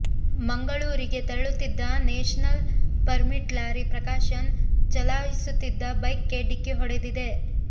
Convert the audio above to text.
ಮಂಗಳೂ ರಿಗೆ ತೆರಳುತ್ತಿದ್ದ national permit lorry Prakashan ಚಲಾ ಯಿಸುತ್ತಿದ್ದ ಬೈಕ್ಗೆ ಢಿಕ್ಕಿ ಹೊಡೆದಿದೆ